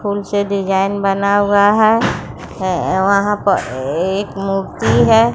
फूल से डिजाइन बना हुआ है अह वहां पर एक मूर्ति है।